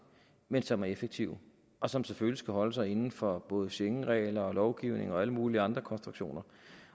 men som er effektive og som selvfølgelig skal holde sig inden for både schengenregler lovgivning og alle mulige andre konstruktioner